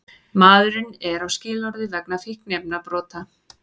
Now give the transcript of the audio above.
Maðurinn er á skilorði vegna fíkniefnabrota